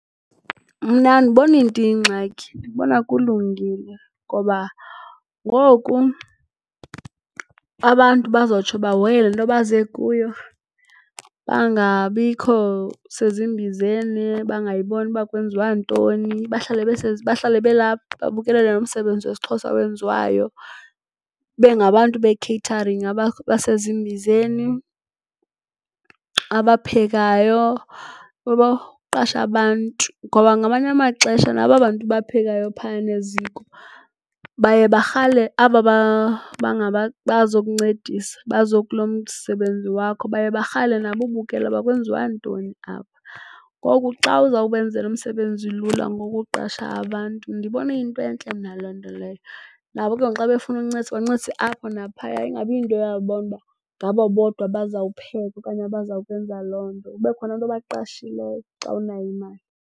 Mna andiboni nto iyingxaki. Ndibona kulungile ngoba ngoku abantu bazotsho bahoye le nto baze kuyo, bangabikho sezimbizeni, bangayiboni uba kwenziwa ntoni bahlale belapha babukelele lo msebenzi wesiXhosa owenziwayo. Ibe ngabantu be-catering abasezimbizeni, abaphekayo, uyabo, uqashe abantu. Ngoba ngamanye amaxesha nabo aba bantu baphekayo phayana eziko baye barhale aba bazokuncedisa, baze kulo msebenzi wakho baye barhale nabo ubukela kwenziwa ntoni apha. Ngoku xa uzawubenzela umsebenzi lula ngokuqesha abantu ndibona iyinto entle mna le nto leyo. Nabo ke ngoku xa befuna ukuncedisa bancedise apho naphaya ingabi yinto uyabona ukuba ngabo bodwa abazawukupheka okanye abazawukwenza loo nto. Kube khona abantu obaqashileyo xa unayo imali.